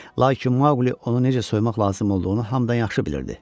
Lakin Maquli onu necə soymaq lazım olduğunu hamıdan yaxşı bilirdi.